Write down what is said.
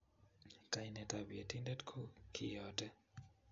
Kainetab Yetindet ko kiyote